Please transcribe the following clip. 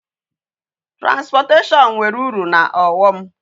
Transportation nwere uru na aghom